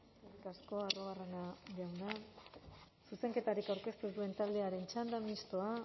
eskerrik asko arruabarrena jauna zuzenketarik aurkeztu ez duen taldearen txanda mistoa